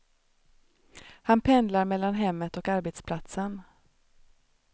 Han pendlar mellan hemmet och arbetsplatsen.